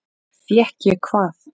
Fékk ég hvað?